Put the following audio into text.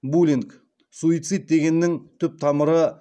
булинг суицид дегеннің түп тамыры